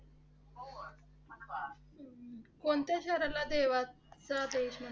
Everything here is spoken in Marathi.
कोणत्या शहराला देवाचा देश म्हणतात?